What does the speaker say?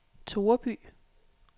Toreby